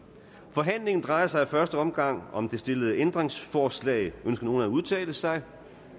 forhandlingen drejer sig i første omgang om det stillede ændringsforslag ønsker nogen at udtale sig